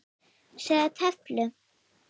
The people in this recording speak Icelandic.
Sjá töflu.